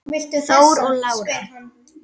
Þór og Lára.